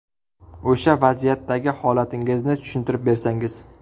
O‘sha vaziyatdagi holatingizni tushuntirib bersangiz?